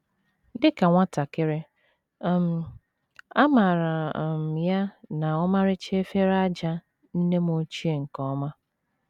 Dị ka nwatakịrị, um amaara um m ya na ọmarịcha efere ájá nne m ochie nke ọma.